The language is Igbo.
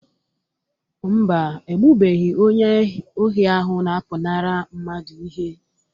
Mba, egbubeghị onye ohi ahụ na-apụnara mmadụ ihe